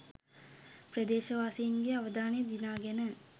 ප්‍රදේශවාසීන්ගේ අවධානය දිනාගෙන